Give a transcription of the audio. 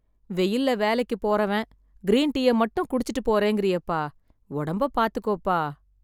வெயில்ல வேலைக்கு போறவன், க்ரீன் டீயை மட்டும் குடிச்சுட்டுப் போறேங்கறீயேப்பா... ஒடம்பை பாத்துக்கோப்பா.